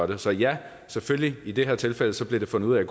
dem så ja selvfølgelig blev i det her tilfælde tilfælde fundet ud af